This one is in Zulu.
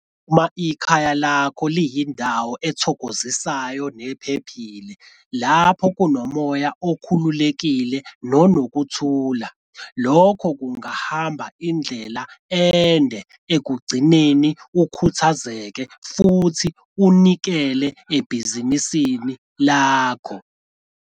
Uma ikhaya lakho liyindawo ethokozisayo nephephile lapho kunomoya okhululekile nonokuthula lokho kungahamba indlela ende ekukugcineni ukhuthazekile futhi unikele ebhizinisini lakho.